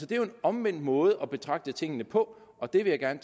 det er jo en omvendt måde at betragte tingene på og det vil jeg